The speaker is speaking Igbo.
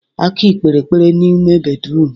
Aki kpere ekpere n'ime bédrụum.